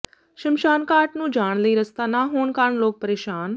ਸ਼ਮਸ਼ਾਨਘਾਟ ਨੰੂ ਜਾਣ ਲਈ ਰਸਤਾ ਨਾ ਹੋਣ ਕਾਰਨ ਲੋਕ ਪ੍ਰੇਸ਼ਾਨ